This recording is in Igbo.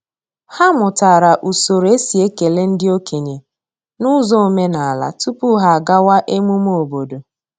Ha mụtara usoro e si ekele ndị okenye n’ụzọ omenala tupu ha agawa emume obodo.